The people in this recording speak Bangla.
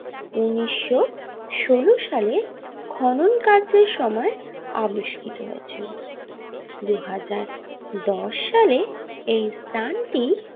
উনিশশো ষোলো সালে খনন কার্যের সময় আবিষ্কৃত হয়েছিল দু হাজার দশ সালে এই স্থানটি।